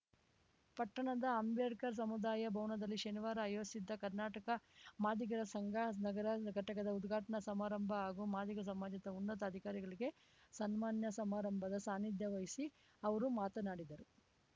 ಪಟ್ಟಣದ ಅಂಬೇಡ್ಕರ್‌ ಸಮುದಾಯ ಭವನದಲ್ಲಿ ಶನಿವಾರ ಆಯೋಜಿಸಿದ್ದ ಕರ್ನಾಟಕ ಮಾದಿಗರ ಸಂಘ ನಗರ ಘಟಕದ ಉದ್ಘಾಟನಾ ಸಮಾರಂಭ ಹಾಗೂ ಮಾದಿಗ ಸಮಾಜದ ಉನ್ನತ ಅಧಿಕಾರಿಗಳಿಗೆ ಸನ್ಮಾನ ಸಮಾರಂಭದ ಸಾನ್ನಿಧ್ಯ ವಹಿಸಿ ಅವರು ಮಾತನಾಡಿದರು